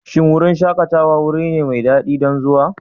Shin wurin shakatawa wuri ne mai daɗi don zuwa?